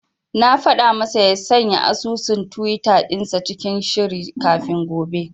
Na faɗa masa ya sanya asusun tiwita dinsa cikin shiri kafin gobe.